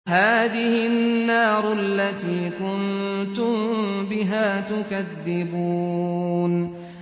هَٰذِهِ النَّارُ الَّتِي كُنتُم بِهَا تُكَذِّبُونَ